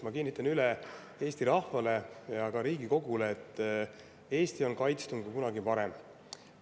Ma kinnitan üle Eesti rahvale ja ka Riigikogule, et Eesti on kaitstum kui kunagi varem.